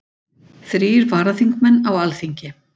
Þrír varaþingmenn á Alþingi